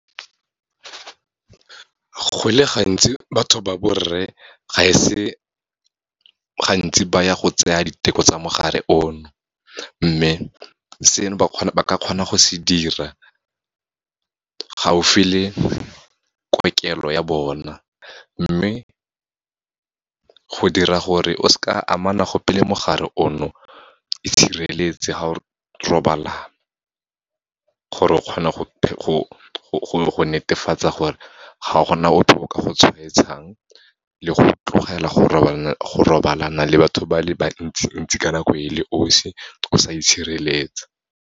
Go le gantsi batho ba borre, ga e se gantsi baya go tseya diteko tsa mogare ono, mme seno ba ka kgona go se dira, gaufi le kokelo ya bona. Mme, go dira gore o se ka amana gope le mogare ono, itshireletse ga o robalana, gore o kgone go netefatsa gore ga gona ope o ka go tshwaetsang, le go tlogela go robalana le batho ba le bantsi ntsi ka nako e le 'osi o sa itshireletsa.